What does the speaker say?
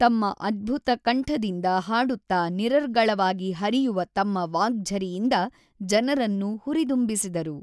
ತಮ್ಮ ಅದ್ಭುತ ಕಂಠದಿಂದ ಹಾಡುತ್ತಾ ನಿರರ್ಗಳವಾಗಿ ಹರಿಯುವ ತಮ್ಮ ವಾಗ್ಝರಿಯಿಂದ ಜನರನ್ನು ಹುರಿದುಂಬಿಸಿದರು.